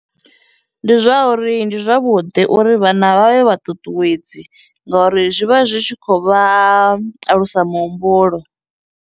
Ndi zwauri ndi zwavhuḓi uri vhana vha vhe vhaṱuṱuwedzi ngauri zwi vha zwi tshi khou vha alusa muhumbulo.